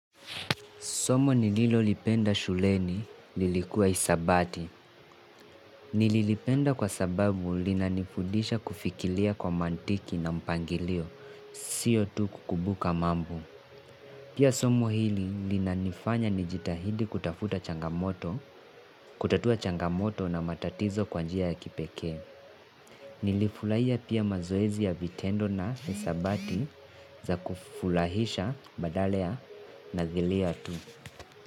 Somo nililolipenda shuleni lilikuwa isabati. Nililipenda kwa sababu linanifudisha kufikilia kwa mantiki na mpangilio. Sio tu kukubuka mambo. Pia somo hili linanifanya nijitahidi kutafuta changamoto, kutatua changamoto na matatizo kwa njia ya kipekee. Nilifulahia pia mazoezi ya vitendo na isabati za kufulahisha badale ya na giliya tu.